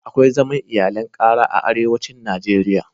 Akwai zaman iyalin ƙara a arewacin Najeriya.